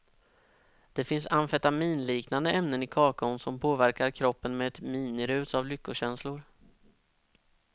Det finns amfetaminliknande ämnen i kakaon som påverkar kroppen med ett minirus av lyckokänslor.